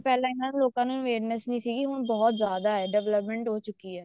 ਪਹਿਲਾਂ ਇੰਨਾ ਲੋਕਾਂ ਨੂੰ awareness ਨਹੀਂ ਸੀ ਹੁਣ ਬਹੁਤ ਜਿਆਦਾ ਹੈ development ਹੋ ਚੁੱਕੀ ਹੈ